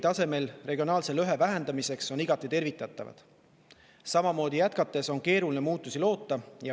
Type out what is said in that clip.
Kõik sammud regionaalse lõhe vähendamiseks on ministeeriumi tasemel igati tervitatavad, sest samamoodi jätkates on keeruline muutusi loota.